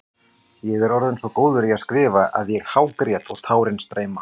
Ég er orðinn svo góður í að skrifa að ég hágræt og tárin streyma.